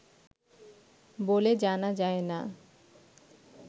বলে জানা যায় না